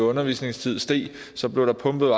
undervisningstid steg så blev der pumpet